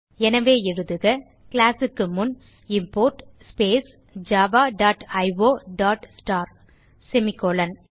எனவே எழுதுக classக்கு முன் import space Java dot io dot star சேமி colon